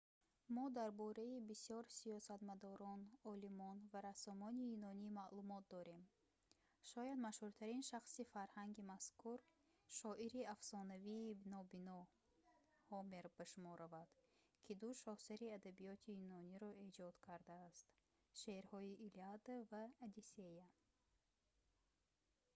мо дар бораи бисёр сиёсатмадорон олимон ва рассомони юнонӣ маълумот дорем шояд машҳуртарин шахси фарҳанги мазкур шоири афсонавии нобино ҳомер ба шумор равад ки ду шоҳасари адабиёти юнониро эҷод кардааст шеърҳои илиада ва одиссея